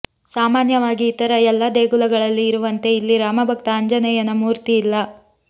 ಸಾಮಾನ್ಯವಾಗಿ ಇತರ ಎಲ್ಲ ದೇಗುಲಗಳಲ್ಲಿ ಇರುವಂತೆ ಇಲ್ಲಿ ರಾಮಭಕ್ತ ಆಂಜನೇಯನ ಮೂರ್ತಿ ಇಲ್ಲ